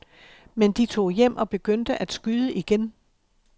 Men de tog hjem og begyndte at skyde igen.